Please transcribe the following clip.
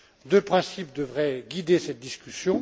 Deux principes devraient guider cette discussion.